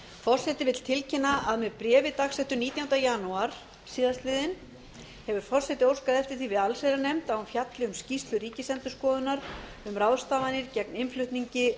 forseti vill tilkynna að með bréfi dagsettu nítjánda janúar síðastliðinn hefur forseti óskað eftir því við allsherjarnefnd að hún fjalli um skýrslu ríkisendurskoðunar um ráðstafanir gegn innflutningi